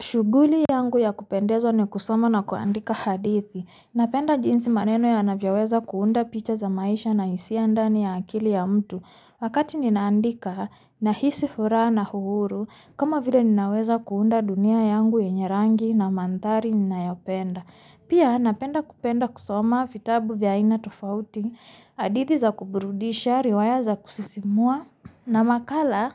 Shuguli yangu ya kupendeza ni kusoma na kuandika hadithi, napenda jinsi maneno yanavyoweza kuunda picha za maisha na isia ndani ya akili ya mtu, wakati ninaandika nahisi furaha na uhuru kama vile ninaweza kuunda dunia yangu yenye rangi na manthari ninayopenda, pia napenda kupenda kusoma vitabu vya ina tofauti, hadithi za kuburudisha, riwaya za kusisimua na makala